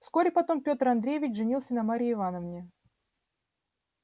вскоре потом пётр андреевич женился на марье ивановне